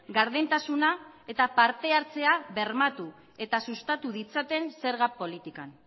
gardentasuna eta partehartzea bermatu eta sustatu ditzaten zerga politikan